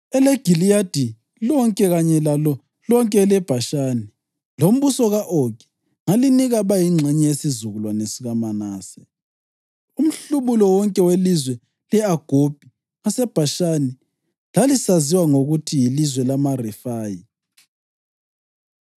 EleGiliyadi lonke kanye lalo lonke eleBhashani, lombuso ka-Ogi, ngalinika abayingxenye yesizukulwane sikaManase.” (Umhlubulo wonke welizwe le-Agobhi ngaseBhashani lalisaziwa ngokuthi yilizwe lamaRefayi.